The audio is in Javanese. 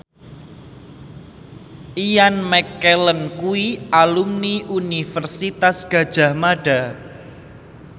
Ian McKellen kuwi alumni Universitas Gadjah Mada